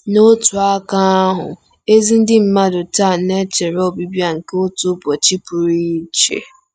N'otu aka ahụ, ezi ndị mmadụ taa na-echere ọbịbịa nke otu ụbọchị pụrụ iche.